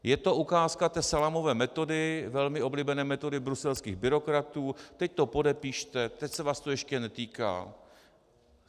Je to ukázka té salámové metody, velmi oblíbené metody bruselských byrokratů - teď to podepište, teď se vás to ještě netýká.